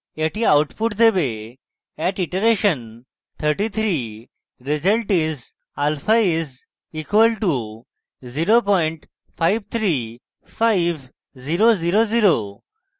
এটি output দেবে at iteration 33 result is alpha is: equal to 0535000